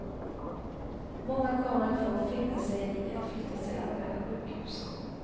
Många kommer att få finna sig i att flyttas till andra sjukhus.